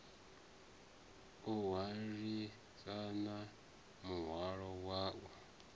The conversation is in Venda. o hwalisana muhwalo wa u